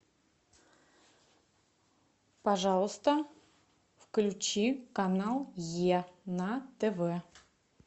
пожалуйста включи канал е на тв